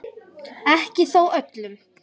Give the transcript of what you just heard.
Ekki þó öllum.